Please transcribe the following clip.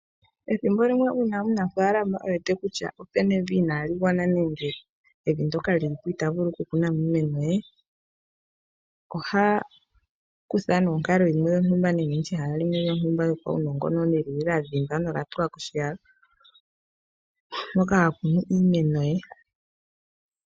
Ethimbo limwe uuna omunafaalama e wete kutya opu na evi inaali gwana nenge evi ndoka li li po ita vulu okukuna mo iimeno ye, oha kutha nee onkalo yimwe yontumba ehala limwe lyontummba yopaunongononi ndi lya dhindwa nenge lya tulwa koshiyalo moka ha kunu iimeno ye.